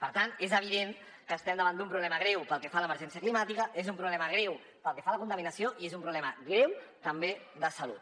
per tant és evident que estem davant d’un problema greu pel que fa a l’emergència climàtica és un problema greu pel que fa a la contaminació i és un problema greu també de salut